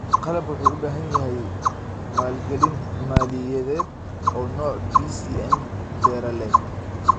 Qalabku wuxuu u baahan yahay maalgelin maaliyadeed oo noc BCN beralet